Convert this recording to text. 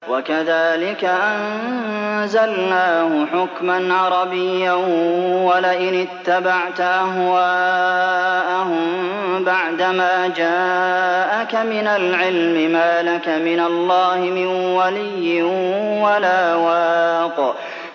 وَكَذَٰلِكَ أَنزَلْنَاهُ حُكْمًا عَرَبِيًّا ۚ وَلَئِنِ اتَّبَعْتَ أَهْوَاءَهُم بَعْدَمَا جَاءَكَ مِنَ الْعِلْمِ مَا لَكَ مِنَ اللَّهِ مِن وَلِيٍّ وَلَا وَاقٍ